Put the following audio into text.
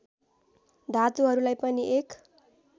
धातुहरूलाई पनि एक